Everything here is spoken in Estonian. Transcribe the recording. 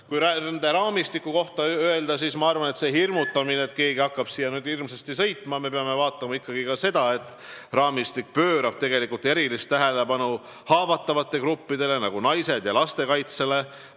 Kui raamistikust rääkida, siis ma arvan selle hirmutamise kohta, nagu keegi hakkaks nüüd hirmsasti siia sõitma, et me peame vaatama ikkagi ka seda, et raamistik pöörab tegelikult erilist tähelepanu haavatavate gruppide, nagu naiste ja laste kaitsele.